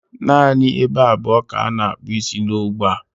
Naanị ebe abụọ ka a na-akpụ isi n'ógbè a.